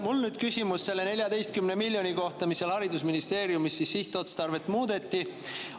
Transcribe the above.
Mul on nüüd küsimus selle 14 miljoni kohta, mille sihtotstarvet haridusministeeriumis muudeti.